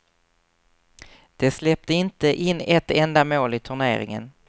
De släppte inte in ett enda mål i turneringen.